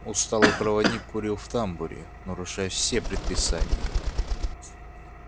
усталый проводник курил в тамбуре нарушая все предписания